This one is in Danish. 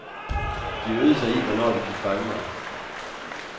De øvede sig i, hvornår de kunne fange mig.